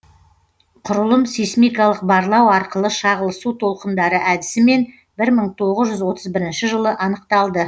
құрылым сейсмикалық барлау арқылы шағылысу толқындары әдісімен бір мың тоғыз жүз отыз бірінші жылы анықталды